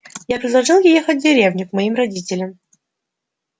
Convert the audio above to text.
я предложил ей ехать в деревню к моим родителям